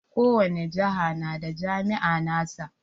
Ko wani jihar na da jami'a na sa.